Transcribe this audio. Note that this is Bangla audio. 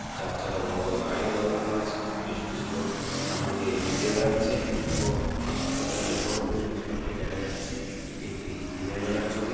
চারচাকা বড়ো বড়ো গাড়িও দাড় করানো আছে বেশ কিছু লোক সামনে দিয়ে হেঁটে বেড়াচ্ছে ও হাসপাতালের ওপরেও বেশ কিছু লোককে দেখা যাচ্ছে এটি একটি দিনের বেলার ছবি।